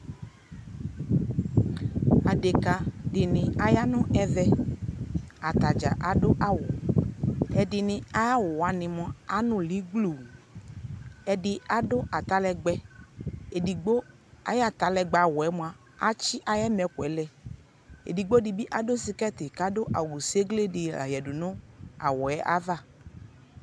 Adekadɩnɩ aya nʋ ɛvɛ, atadzaa adʋ awʋ Ɛdɩnɩ ayawʋ wanɩ mʋa anʋlɩ gbluu Ɛdɩ adʋ atalɛgbɛ, edigbo ay'atalɛgbɛ awʋ yɛ mʋa atsɩ ay'ɛmɛkʋ yɛ lɛ Edigbodɩ bɩ adʋ skirtɩ k'adʋ awʋ segledɩ la yǝ nʋ awʋ yɛ ava